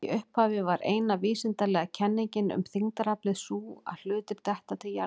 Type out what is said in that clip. Í upphafi var eina vísindalega kenningin um þyngdaraflið sú að hlutir detta til jarðar.